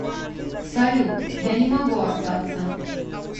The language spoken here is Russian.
салют я не могу остаться